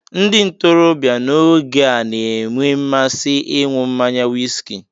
Ndị ntorobịa n'oge a na-enwe mmasị ịnwụ mmanya wiski